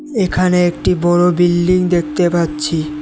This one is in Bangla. এখানে একটি বড় বিল্ডিং দেখতে পাচ্ছি।